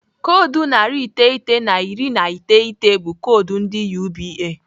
Koodu narị iteghete na iri na iteghete bụ koodu ndị UBA.